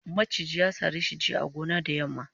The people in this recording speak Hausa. maciji ya sare shi a gona jiya da yamma